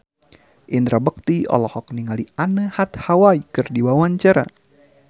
Indra Bekti olohok ningali Anne Hathaway keur diwawancara